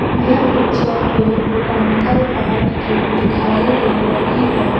यह पिक्चर एक botanical park के दिखाई दे रही है।